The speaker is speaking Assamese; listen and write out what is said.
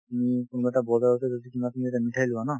উম, কোনোবা এটা বজাৰতে যদি তোমাৰ তুমি এটা মিঠাই লোৱা ন